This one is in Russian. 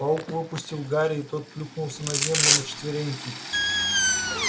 паук выпустил гарри и тот плюхнулся на землю на четвереньки